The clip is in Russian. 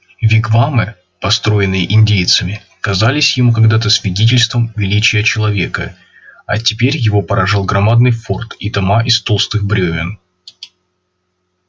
вигвамы построенные индейцами казались ему когда то свидетельством величия человека а теперь его поражал громадный форт и дома из толстых брёвен